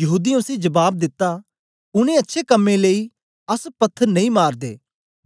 यहूदीयें उसी जबाब दिता उनै अच्छे कम्में लेई अस पत्थर नेई मारदे